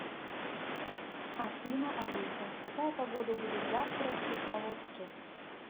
афина алиса какая погода будет завтра в кисловодске